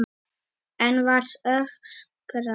Enn var öskrað.